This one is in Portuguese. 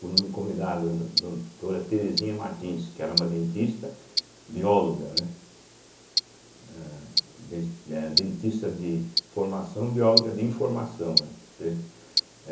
quando me convidaram, do doutora Terezinha Martins, que era uma dentista bióloga, né, eh des eh dentista de formação bióloga de informação, né, entende.